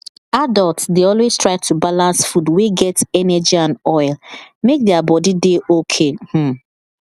adults dey always try to balance food wey get energy and oil make their body dey okay um